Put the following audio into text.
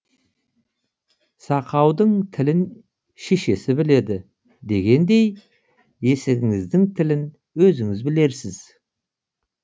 сақаудың тілін шешесі біледі дегендей есігіңіздің тілін өзіңіз білерсіз